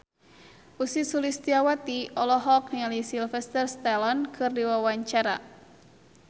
Ussy Sulistyawati olohok ningali Sylvester Stallone keur diwawancara